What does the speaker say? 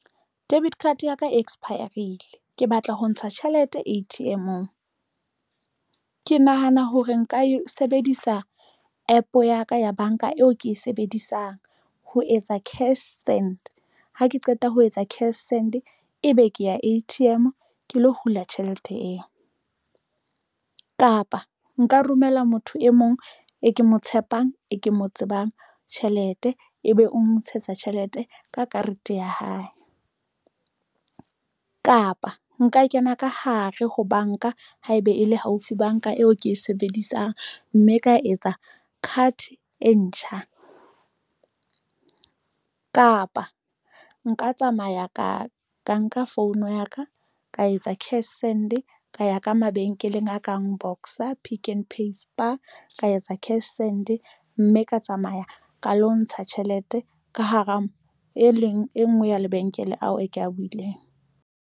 Debit card ya ka expire-rile ke batla ho ntsha tjhelete A_T_M-ong, ke nahana hore nka e sebedisa APP ya ka ya banka eo ke e sebedisang ho etsa cashsend ha ke qeta ho etsa cashsend, ebe ke ya A_T_M ke lo hula tjhelete eo kapa nka romela motho e mong e ke mo tshepang, e ke mo tsebang tjhelete ebe o mo ntshetsa tjhelete ka karete ya hae kapa nka kena ka hare ho banka haeba e le haufi banka eo ke e sebedisang mme ka etsa card e ntjha kapa nka tsamaya ka nka founu ya ka, ka etsa cashsend ka ya ka mabenkeleng a kang Boxer, Pick n Pay Spar ka etsa cashsend mme ka tsamaya ka lo ntsha tjhelete ka hara e leng e ngwe ya lebenkele ao e ke a buileng.